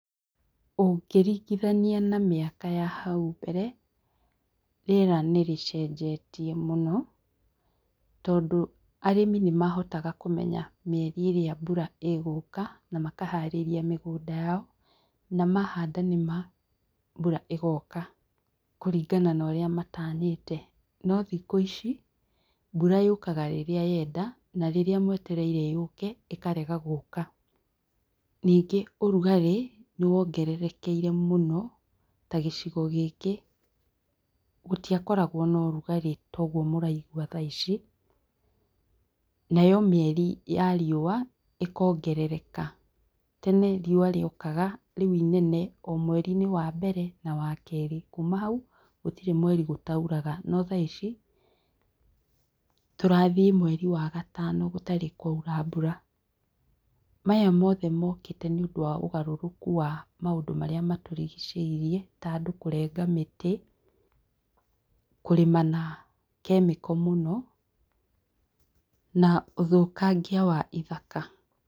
Ũngĩringithania na mĩaka ya hau mbere, rĩera nĩrĩcenjetie mũno tondũ arĩmi nĩmahotaga kũmenya mĩeri ĩrĩa mbura ĩgũka na makaharĩria mĩgũnda yao na mahanda nĩma mbura ĩgoka kũringana naũrĩa matanyĩte. Nothikũ ici, mbura yũkaga rĩrĩa yenda , narĩrĩa mwetereire yũke ĩkarega gũka. Nyingĩ ũrugarĩ, nĩwongererekeire mũno tagĩcigo gĩkĩ, gũtiakoragwo norugarĩ toguo mũraigua thaa ici, nayo mĩeri ya riũa ĩkongerereka. Tene riũa rĩokaga rĩu inene o mweri-inĩ wa mbere na wakerĩ. Kuuma hau, gũtirĩ mweri gũtauraga. Nothaa ici, tũrathiĩ mweri wa gatano gũtarĩ kwaura mbura. Maya mothe mokĩte nĩũndũ wa ũgarũrũku wa maũndũ marĩa matũrigicĩirie, ta andũ kũrenga mĩtĩ, kũrĩma na kemiko mũno na ũthũkangia wa ithaka.